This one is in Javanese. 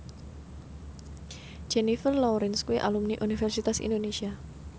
Jennifer Lawrence kuwi alumni Universitas Indonesia